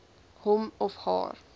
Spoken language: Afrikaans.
hom of haar